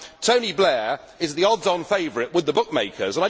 Tony Blair is the odds on favourite with the bookmakers.